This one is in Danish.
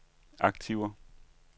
aktiver